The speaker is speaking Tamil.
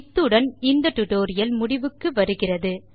இத்துடன் டியூட்டோரியல் முடிவுக்கு வருகிறது